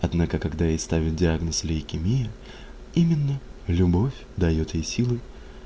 однако когда ей ставят диагноз лейкемия именно любовь даёт ей силы